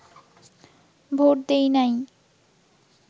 vote দেই নাই